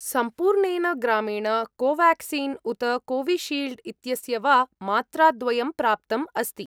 सम्पूर्णेन ग्रामेण कोवाक्सिन् उत कोविशील्ड् इत्यस्य वा मात्राद्वयं प्राप्तम् अस्ति।